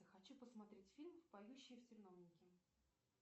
хочу посмотреть фильм поющие в терновнике